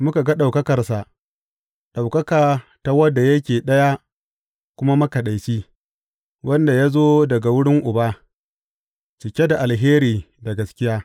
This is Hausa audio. Muka ga ɗaukakarsa, ɗaukaka ta wanda yake Ɗaya kuma Makaɗaici, wanda ya zo daga wurin Uba, cike da alheri da gaskiya.